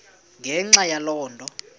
ngenxa yaloo nto